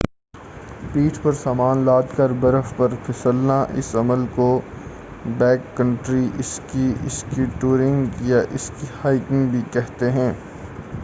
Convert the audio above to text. پیٹھ پر سامان لاد کر برف پر پھسلنا اس عمل کو back country ski ski touring یا اسکی ہائیکنگ بھی کہتے ہیں